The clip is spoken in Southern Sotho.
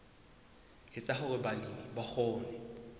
etsa hore balemi ba kgone